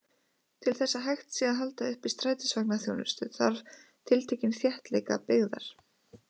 Til þess að hægt sé að halda uppi strætisvagnaþjónustu, þarf tiltekinn þéttleika byggðar.